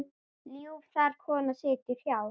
Ljúf þar kona situr hjá.